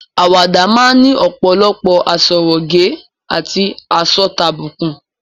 Àwàdà máa ni ọ̀pòlọpọ̀ àsọrégèé àti àsọtàbùkù.